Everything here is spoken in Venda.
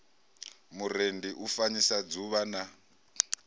murendi u fanyisa dzuvha na